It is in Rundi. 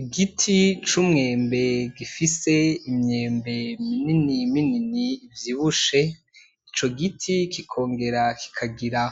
Igiti cumwembe gifise imyembe minini minini ivyibushe , ico giti kikongera kikagira